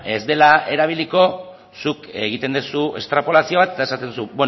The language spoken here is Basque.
ez dela erabiliko zuk egiten duzu estrapolazio bat eta esaten duzu